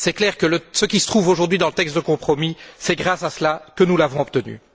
Il est clair que ce qui se trouve aujourd'hui dans le texte de compromis, c'est grâce à cela que nous l'avons obtenu.